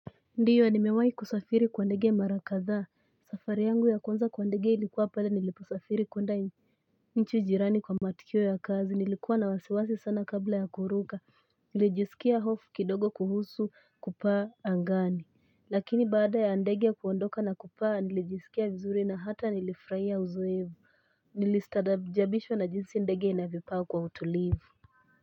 Ndiyo nimewai kusafiri kwa ndege mara kadhaa safari yangu ya kwanza kwa ndege ilikuwa pale niliposafiri kwenda nchi jirani kwa matukio ya kazi nilikuwa na wasiwasi sana kabla ya kuruka nilijisikia hofu kidogo kuhusu kupaa angani lakini baada ya ndege kuondoka na kupaa nilijisikia vizuri na hata nilifrahia uzoevu nilistadabijabishwa na jinsi ndege inavyopaa kwa utulivu.